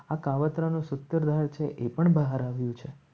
આ કાવતરા નું સૂત્ર રહે છે. એ પણ બહાર આવ્યું છે.